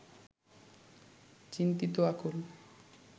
চিন্তিত আকুল